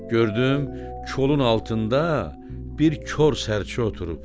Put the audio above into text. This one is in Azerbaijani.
Gördüm kolun altında bir kor sərçə oturub.